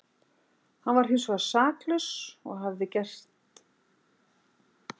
Hann var hinsvegar saklaus og hafði ekkert unnið sér til saka heldur gerði lögreglan mistök.